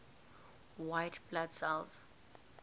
white blood cells